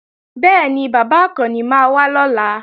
Bẹ́ẹ̀ni, bàbá Àkànni máa wá lọ́la